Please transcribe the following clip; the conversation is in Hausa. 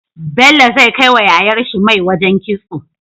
Bello zai kai wa yayar shi mai wajan kitso